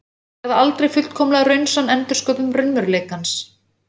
Þau verða aldrei fullkomlega raunsönn endursköpun raunveruleikans.